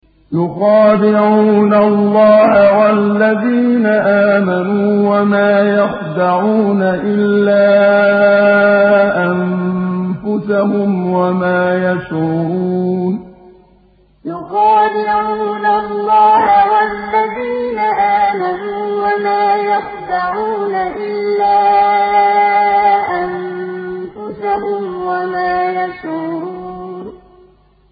يُخَادِعُونَ اللَّهَ وَالَّذِينَ آمَنُوا وَمَا يَخْدَعُونَ إِلَّا أَنفُسَهُمْ وَمَا يَشْعُرُونَ يُخَادِعُونَ اللَّهَ وَالَّذِينَ آمَنُوا وَمَا يَخْدَعُونَ إِلَّا أَنفُسَهُمْ وَمَا يَشْعُرُونَ